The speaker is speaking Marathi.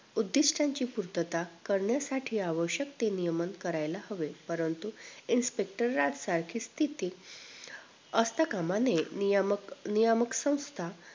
उद्धिष्टांची पूर्तता करण्यासाठी आवश्यक ते नियमन करायला हवे परंतु inspector राजा सारखी स्थिती असता काम नये नियामक नियामक संस्थां